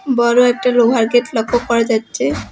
বড় একটা লোহার গেট লক্ষ্য করা যাচ্চে।